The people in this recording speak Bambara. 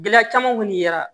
Gɛlɛya caman wuli la